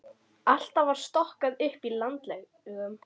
Alltaf var stokkað upp í landlegum.